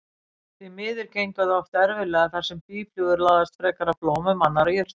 Því miður gengur það oft erfiðlega þar sem býflugur laðast frekar að blómum annarra jurta.